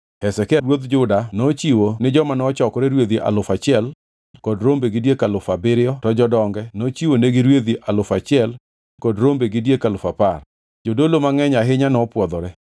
Hezekia ruodh Juda nochiwo ni joma nochokore rwedhi alufu achiel kod rombe gi diek alufu abiriyo, to jodonge nochiwonegi rwedhi alufu achiel kod rombe gi diek alufu apar. Jodolo mangʼeny ahinya nopwodhore.